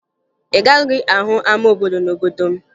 Ị gaghị ahụ ama obodo n'obodo m